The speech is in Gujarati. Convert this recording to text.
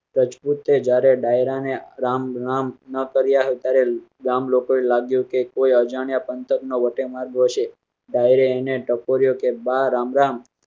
રજપૂતે જ્યારે દાયરા ને રામ રામ ન કર્યા ગામ લોકો ને લાગ્યું કોઈ અજાણ્યા પંથક નો વટેમાર્ગુ હશે. દાયરે ને ટકોરે બા રામ રામ